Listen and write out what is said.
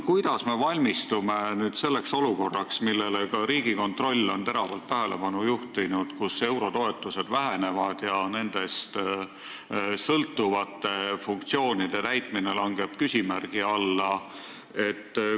Kuidas me valmistume selleks olukorraks, millele ka Riigikontroll on teravalt tähelepanu juhtinud, kus eurotoetused vähenevad ja nendest sõltuvate funktsioonide täitmine langeb küsimärgi alla?